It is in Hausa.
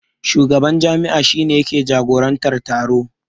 Shugaban jam'iyya shi ne yake jagorantar taro.